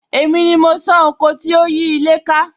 Èmi ni mo san oko tí ó yí ilé ká